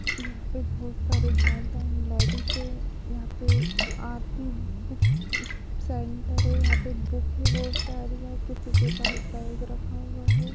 यहाँ पे बहोत सारे जैंट्स एंड लेडीज हैं। यहाँ पे एक आरती बुक स सेंटर है। यहाँ पे बुक है बहोत सारी यहाँ किसी के पास बैग रखा हुआ है।